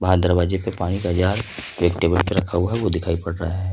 दरवाजे पे पानी का जार एक टेबल पे रखा हुआ है वह दिखाई पड़ रहा है।